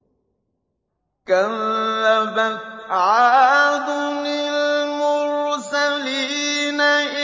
كَذَّبَتْ عَادٌ الْمُرْسَلِينَ